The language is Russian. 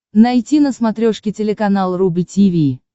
найти на смотрешке телеканал рубль ти ви